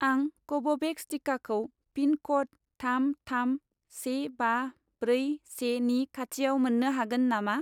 आं कव'भेक्स टिकाखौ पिन क'ड थाम थाम से बा ब्रै से नि खाथिआव मोन्नो हागोन नामा